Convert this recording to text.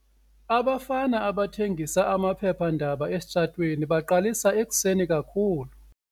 Abafana abathengisa amaphephandaba esitratweni baqalisa ekuseni kakhulu.